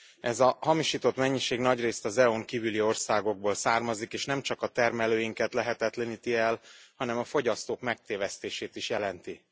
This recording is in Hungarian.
Ez a hamisított mennyiség nagyrészt EU n kívüli országokból származik, és nemcsak a termelőinket lehetetleníti el, hanem a fogyasztók megtévesztését is jelenti.